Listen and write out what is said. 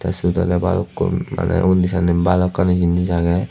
siot ole balukkun mane undi sanne balokkani jinis agey.